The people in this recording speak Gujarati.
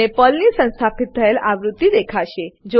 તમને પર્લની સંસ્થાપિત થયેલ આવૃત્તિ દેખાશે